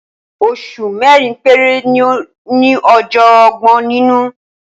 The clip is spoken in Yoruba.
Oṣù mẹ́rin péré ni ó ní ọjọ́ ọgbọ̀n nínú.